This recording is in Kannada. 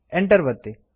enter ಒತ್ತಿ